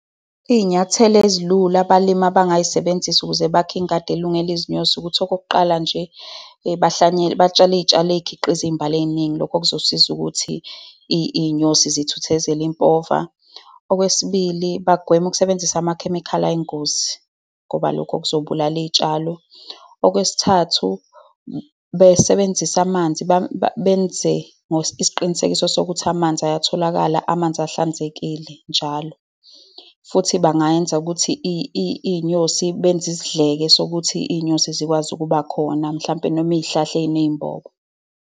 Iy'nyathelo ezilula abalimi abangay'sebenzisa ukuze bakhe ingadi elungele izinyosi ukuthi okokuqala nje, bahlwanyele, batshale izitshalo ezikhiqiza iy'mbali ey'ningi. Lokho kuzosiza ukuthi iy'nyosi zithuthezele impova. Okwesibili, bagweme ukusebenzisa amakhemikhali ayingozi ngoba lokho kuzobulala iy'tshalo. Okwesithathu, besebenzise amanzi. Benze isiqinisekiso sokuthi amanzi ayatholakala, amanzi ahlanzekile njalo. Futhi bangayenza ukuthi iy'nyosi, benze isidleke sokuthi iy'nyosi zikwazi ukuba khona, mhlampe noma iy'hlahla ey'nembobo.